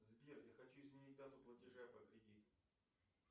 сбер я хочу изменить дату платежа по кредиту